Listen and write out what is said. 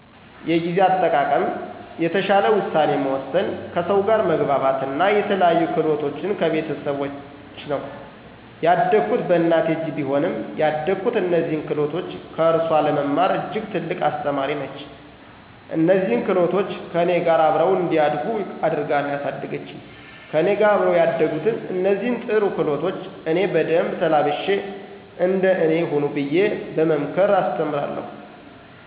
የጊዜ አጠቃቀም፣ የተሻለ ውሳኔ መወሰን፣ ከሰው ጋር መግባባት አና የተለያዩ ክህሎቶችን ከቤተሰቦቸ ነው። ያደኩት በእናቴ እጅ ቢሆንም ያደኩት እነዚህን ክህሎቶች ከእርሱአ ለመማር እጅግ ትልቅ አስተማሪ ነች። እነዚህን ክህሎቶች ከእኔ ጋር አብረው እንዲያድጉ አድርጋ ነው ያሳደገችኝ። ከእኔ ጋር አብረው ያደጉትን እነዚህን ጥሩ ክህሎቶች እኔ በደንብ ተላብሼ እንደ እኔ ሁኑ ብየ በመምከር አስተምራለሁ።